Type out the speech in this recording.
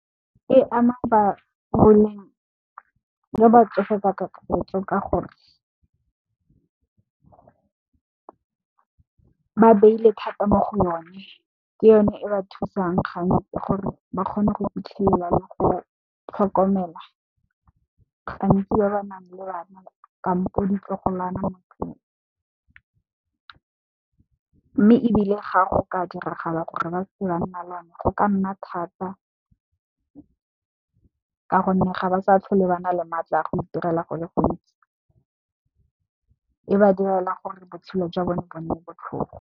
E ama ba boleng jwa batsofe ka kakaretso ka gore ba beile thata mo go yone, ke yone e ba thusang gantsi gore ba kgone go fitlhelela le go tlhokomela gantsi ba ba nang le bana kampo ditlogolwana motlong. Mme, ebile ga go ka diragala gore ba se ka nna le yona go ka nna thata ka gonne, ga ba sa tlhole bana le matla a go itirela go le gontsi e ba direla gore botshelo jwa bone bo nne botlhofo.